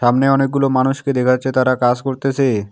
সামনে অনেকগুলো মানুষকে দেখা যাচ্ছে তারা কাজ করতেসে।